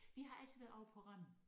Vi har altid været ovre på Rømø